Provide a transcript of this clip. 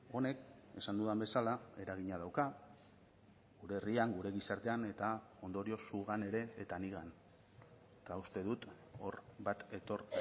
honek esan dudan bezala eragina dauka gure herrian gure gizartean eta ondorioz zugan ere eta nigan eta uste dut hor bat etor